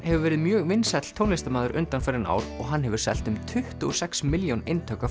hefur verið mjög vinsæll tónlistarmaður undanfarin ár og hann hefur selt um tuttugu og sex milljón eintök af